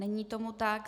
Není tomu tak.